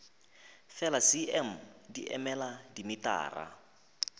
fela cm di emela dimetara